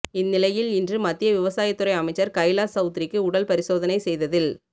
இந்நிலையில் இன்று மத்திய விவசாயத்துறை அமைச்சர் கைலாஷ் சவுத்ரிக்கு உடல் பரிசோதனை செய்ததில்